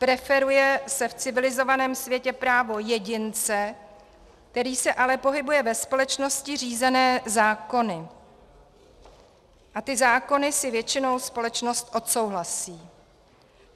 Preferuje se v civilizovaném světě právo jedince, který se ale pohybuje ve společnosti řízené zákony, a ty zákony si většinou společnost odsouhlasí.